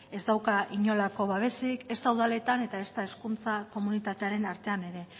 ez dauka inolako babesik ezta udaletan ezta hizkuntza komunitatearen artean ere